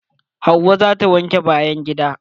Hauwa zata wanke bayan gida.